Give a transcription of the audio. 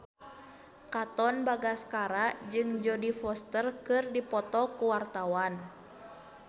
Katon Bagaskara jeung Jodie Foster keur dipoto ku wartawan